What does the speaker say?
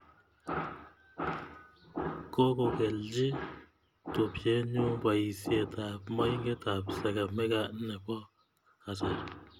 Kokokelchi tupnye nyu poisyet ap moinget ap sagamik nepo kasari